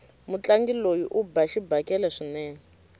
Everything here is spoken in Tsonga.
mutlangi loyi uba xibakele swinene